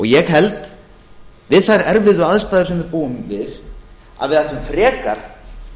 ég held við þær erfiðu aðstæður sem við búum við að við ættum frekar